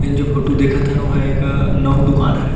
N जो photo देखत हन ओ ह एक नाऊ के दुकान हरे।